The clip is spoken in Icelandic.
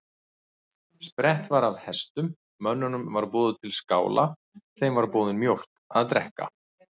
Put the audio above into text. Sprett var af hestum, mönnunum var boðið til skála, þeim var borin mjólk að drekka.